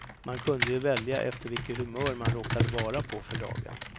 Man kunde ju välja efter vilket humör man råkade vara på för dagen.